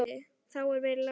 Þá verða læti.